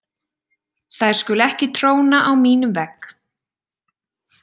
Þær skulu ekki tróna á mínum vegg.